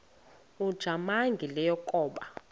ujamangi le yakoba